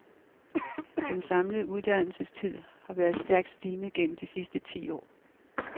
Den samlede uddannelsestid har været stærkt stigende gennem de sidste ti år.